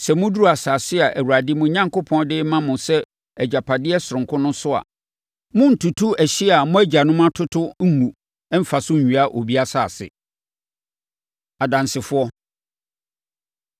Sɛ moduru asase a Awurade, mo Onyankopɔn, de rema mo sɛ agyapadeɛ sononko no so a, monntutu ɛhyeɛ a mo agyanom atoto ngu mmfa so nwia obi asase. Adansefoɔ